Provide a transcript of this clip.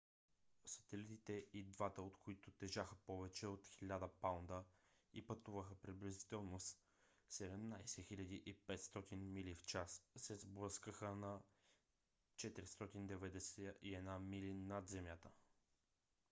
сателитите и двата от които тежаха повече от 1000 паунда и пътуваха приблизително с 17 500 мили в час се сблъскаха на 491 мили над земята